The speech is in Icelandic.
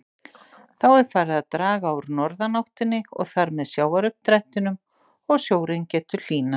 Þá er farið að draga úr norðanáttinni og þar með sjávaruppdrættinum og sjórinn getur hlýnað.